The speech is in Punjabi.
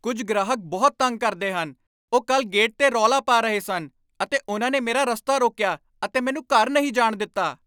ਕੁੱਝ ਗ੍ਰਾਹਕ ਬਹੁਤ ਤੰਗ ਕਰਦੇ ਹਨ। ਉਹ ਕੱਲ੍ਹ ਗੇਟ 'ਤੇ ਰੌਲਾ ਪਾ ਰਹੇ ਸਨ ਅਤੇ ਉਹਨਾਂ ਨੇ ਮੇਰਾ ਰਸਤਾ ਰੋਕਿਆ, ਅਤੇ ਮੈਨੂੰ ਘਰ ਨਹੀਂ ਜਾਣ ਦਿੱਤਾ!